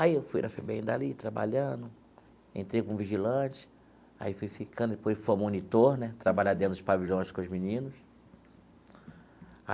Aí eu fui na FEBEM dali, trabalhando, entrei como vigilante, aí fui ficando, depois fui monitor né, trabalhar dentro dos pavilhões com os meninos.